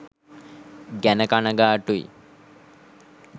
ගැන කනගාටුයි.